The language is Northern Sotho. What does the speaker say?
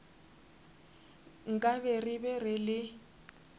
nkabe re be re le